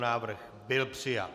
Návrh byl přijat.